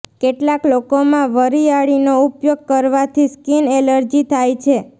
કેટલાક લોકોમાં વરિયાળીનો ઉપયોગ કરવાથી સ્કીન એલર્જી થાય છે